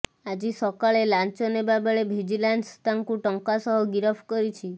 ଆଜି ସକାଳେ ଲାଞ୍ଚ ନେବାବେଳେ ଭିଜିଲାନ୍ସ ତାଙ୍କୁ ଟଙ୍କା ସହ ଗିରଫ କରିଛି